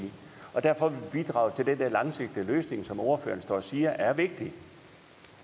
og derfor vil bidrage til den der langsigtede løsning som ordføreren står og siger er vigtig